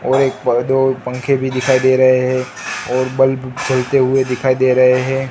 और एक ब दो पंखे भी दिखाई दे रहे हैं और बल्ब जलते हुए दिखाई दे रहे हैं।